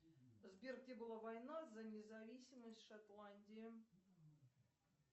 сбер где была война за независимость шотландии